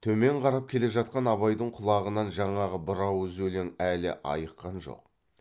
төмен қарап келе жатқан абайдың құлағынан жаңағы бір ауыз өлең әлі айыққан жоқ